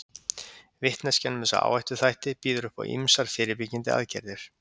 Vitneskjan um þessa áhættuþætti býður upp á ýmsar fyrirbyggjandi aðgerðir.